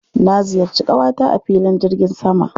Na ziyarci ƙawata a filin jirgin sama.